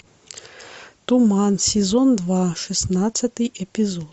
туман сезон два шестнадцатый эпизод